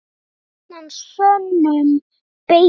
Gjarnan sönnum beita má.